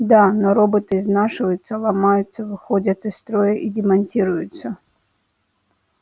да но роботы изнашиваются ломаются выходят из строя и демонтируются